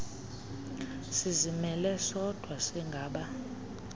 sizimele sodwa singaba